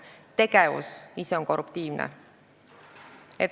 Tegevus ise on korruptiivne.